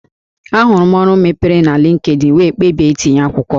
Ahụrụ m ọrụ mepere na Linkedin wee kpebie itinye akwụkwọ